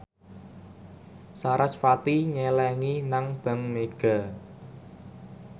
sarasvati nyelengi nang bank mega